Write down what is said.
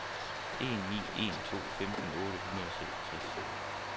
en ni en to femten otte hundrede og seksogtres